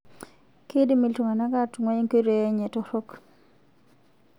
Keidim iltung'ana atung'ua nkoitoi enye torrok